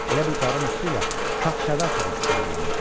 Elə bil qarın üstü ilə şahşəvəl topası dəyirlənirdi.